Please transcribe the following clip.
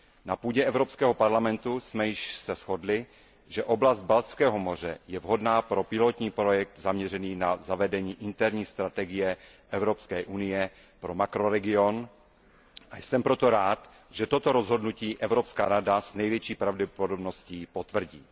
Na půdě Evropského parlamentu jsme se již shodli, že oblast Baltského moře je vhodná pro pilotní projekt zaměřený na zavedení interní strategie EU pro makroregion a jsem proto rád, že toto rozhodnutí Evropská rada s největší pravděpodobností potvrdí.